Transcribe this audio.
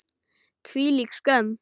Hvílík skömm!